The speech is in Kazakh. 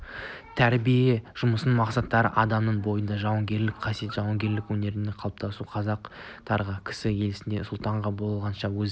тәрбие жұмысының мақсаты адамның бойында жауынгерлік қасиетті жауынгерлік өнегелілікті қалыптастыру қазақтар кісі елінде сұлтан болғанша өз